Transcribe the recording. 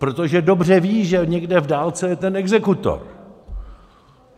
Protože dobře ví, že někde v dálce je ten exekutor.